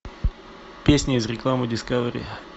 песня из рекламы дискавери